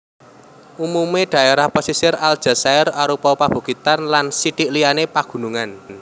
Umumé dhaérah pesisir Aljazair arupa pabukitan lan sithik liyané pagunungan